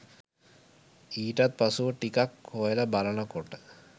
ඊටත් පසුව ටිකක් හොයලා බලනකොට